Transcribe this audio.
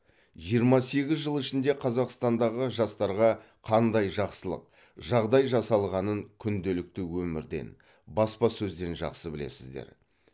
жиырма сегіз жыл ішінде қазақстандағы жастарға қандай жақсылық жағдай жасалғанын күнделікті өмірден баспасөзден жақсы білесіздер